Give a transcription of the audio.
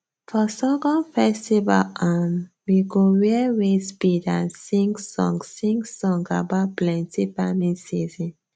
for sorghum festival um we go wear waist bead and sing song sing song about plenty farming season